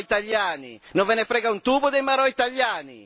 I marò italiani, non ve ne frega un tubo dei marò italiani?